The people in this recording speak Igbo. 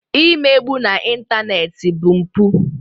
Ị megbu na ịntanetị bụ mpụ